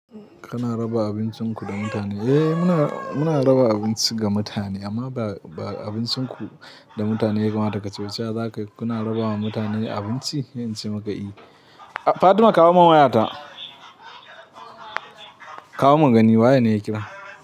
Kana raba abincin ku da mutane? Eh muna, muna raba abinci ga mutane amma ba, ba abincin ku da mutane kawai. Watako cauciya zakai kuna raba ma mutane abinci sai in ce maka i. Fatima kawo min wayata. Kawo mun gani waye ne ya kira.